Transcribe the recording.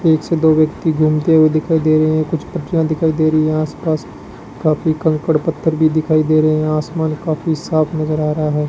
एक से दो व्यक्ति घूमते हुए दिखाई दे रहे हैं कुछ पत्तियां दिखाई दे रही है आसपास काफी कंकड़ पत्थर भी दिखाई दे रहे हैं आसमान काफी साफ नजर आ रहा है।